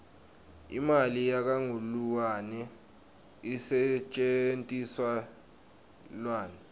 imali yakangluane isetjentiselwani